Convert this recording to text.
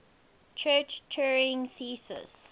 church turing thesis